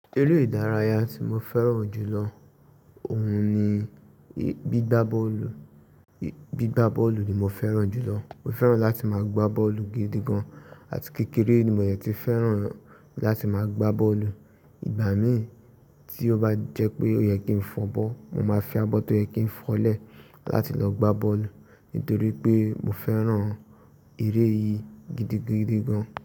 Eré ìdárayá tí mo fẹ́ràn jù lọ òun ni gbígbá bọ́ọ̀lù. Bí gbá bọ́ọ̀lù ni mo fẹ́ràn jù lọ. Mo fẹ́ràn láti máa gbá bọ́ọ̀lù gidi gan. Àti kékeré ni mo yẹn ti fẹ́ràn láti máa gbá bọ́ọ̀lù. Ìgbà mí tí ó bá jẹ́ pé ó yẹ kí n fọbọ́, mo máa fi abọ́ tó yẹ kí n fọlẹ̀ láti lọ gbá bọ́ọ̀lù. Nítorí pé mo fẹ́ràn eré yìí gidigidi gan.